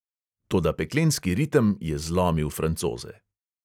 Toda peklenski ritem je zlomil francoze.